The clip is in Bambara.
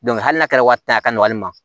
hali n'a kɛra wari ta ye a ka nɔgɔ hali ma